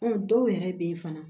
dɔw yɛrɛ bɛ yen fana